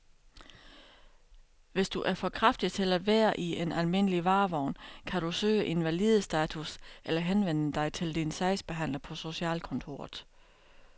Hvis du er for kraftig til at være i en almindelig varevogn, kan du kan søge invalidestatus eller henvende dig til din sagsbehandler på socialkontoret.